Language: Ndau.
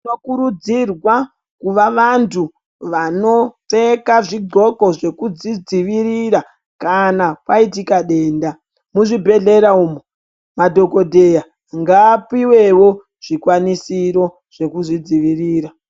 Tinokurudzirwa kuva vantu vanopfeka zvodhxoko zvokudzidziirira kana kwaitika denda. Muzvibhedhlera umu madhokodheya ngaapiwewo zvikwanisiro zvoku zvidzivirira.